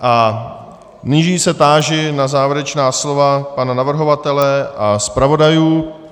A nyní se táži na závěrečná slova pana navrhovatele a zpravodajů.